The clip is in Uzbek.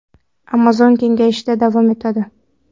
Amazon kengayishda davom etadi.